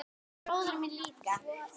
Bróðir minn líka.